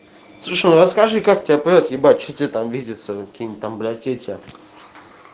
ну расскажи как тебя прёт ебать что тебе там видеться какие-нибудь там блять эти